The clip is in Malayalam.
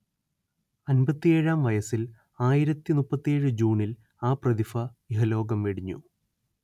അൻപത്തിയേഴാം വയസ്സിൽ ആയിരത്തി മുപ്പത്തിയേഴ് ജൂണിൽ ആ പ്രതിഭ ഇഹലോകം വെടിഞ്ഞു